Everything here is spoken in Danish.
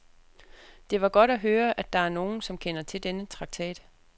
Det var godt at høre, at der er nogen, som kender til denne traktat.